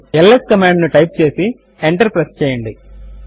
ల్స్ command ను type చేసి enter press చేయండి